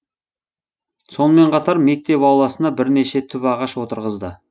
сонымен қатар мектеп ауласына бірнеше түп ағаш отырғызды